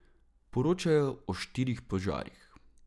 Poročajo o štirih požarih.